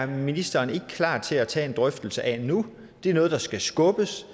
ministeren ikke er klar til at tage en drøftelse af det nu det er noget der skal skubbes